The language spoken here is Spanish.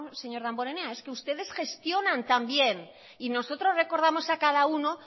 señor damborenea es que ustedes gestionan tan bien y nosotros recordamos a cada uno